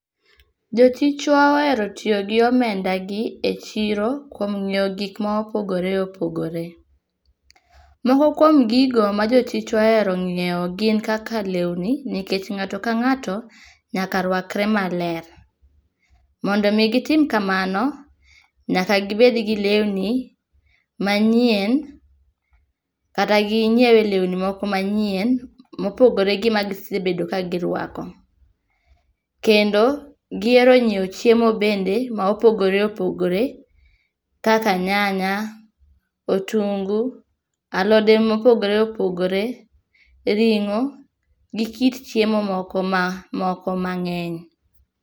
Jo chichwa ohero tiyo gi omendagi echiro kuom ng'iewo gik mopogore opogore. Moko kuom gigo ma jochichwa ohero ng'iewo gin kaka lewni nikech ng'ato kang'ato, nyaka rwakre maler. Mondo mi gitim kamano, nyaka gibed gi lewni manyien, kata ginyiewie lewni moko manyien mopogore gi magisebedo ka girwako. Kendo gihero nyiewo chiemo bende mopogore opogore kaka nyanya, otungu, alode mopogore opogore, ring'o gi kit chiemo moko ma moko mang'eny.